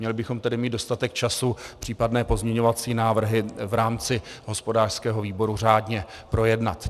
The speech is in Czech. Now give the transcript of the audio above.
Měli bychom mít tedy dostatek času případné pozměňovací návrhy v rámci hospodářského výboru řádně projednat.